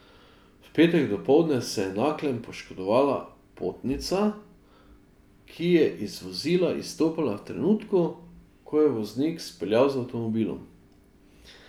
V petek dopoldne se je v Naklem poškodovala potnica, ki je iz vozila izstopala v trenutku, ko je voznik speljal z avtomobilom.